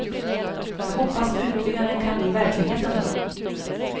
Jag hoppas utbyggnaden kan bli verklighet en dag.